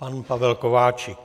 Pan Pavel Kováčik.